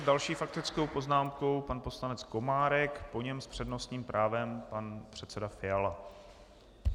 S další faktickou poznámkou pan poslanec Komárek, po něm s přednostním právem pan předseda Fiala.